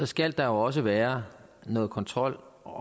skal der også være noget kontrol og